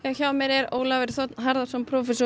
hjá mér er Ólafur þ Harðarson prófessor